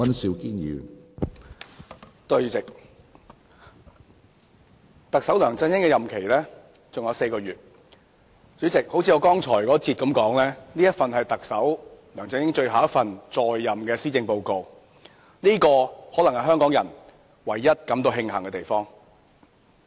主席，特首梁振英的任期尚餘4個月，正如我在第一個辯論環節中所說，這是梁特首在任的最後一份施政報告，這可能是香港人唯一感到慶幸的地方。